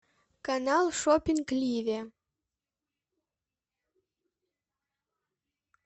канал шоппинг ливе